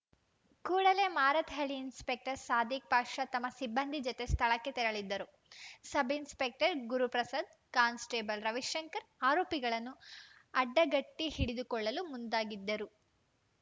ಕೂಡಲೇ ಮಾರತ್‌ಹಳ್ಳಿ ಇನ್ಸ್‌ಪೆಕ್ಟರ್‌ ಸಾದಿಕ್‌ ಪಾಷಾ ತಮ್ಮ ಸಿಬ್ಬಂದಿ ಜತೆ ಸ್ಥಳಕ್ಕೆ ತೆರಳಿದ್ದರು ಸಬ್‌ಇನ್ಸ್‌ಪೆಕ್ಟರ್‌ ಗುರುಪ್ರಸಾದ್‌ ಕಾನ್ಸ್‌ಟೇಬಲ್‌ ರವಿಶಂಕರ್‌ ಆರೋಪಿಗಳನ್ನು ಅಡ್ಡಗಟ್ಟಿಹಿಡಿದುಕೊಳ್ಳಲು ಮುಂದಾಗಿದ್ದರು